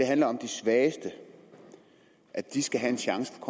handler om de svageste at de skal have en chance for